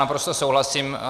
Naprosto souhlasím.